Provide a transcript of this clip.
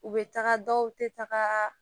U bɛ taga dɔw tɛ taga